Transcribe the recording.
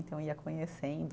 Então ia conhecendo